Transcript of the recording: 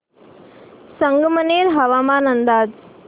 संगमनेर हवामान अंदाज